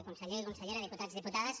conseller consellera diputats diputades